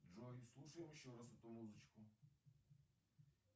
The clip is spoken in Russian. джой слушаем еще раз эту музычку